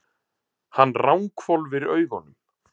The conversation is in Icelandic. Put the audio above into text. Hann ranghvolfir augunum.